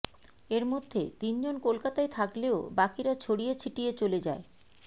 এর মধ্যে তিনজন কলকাতায় থাকলেও বাকিরা ছড়িয়ে ছিটিয়ে চলে যায়